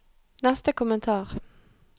neste kommentar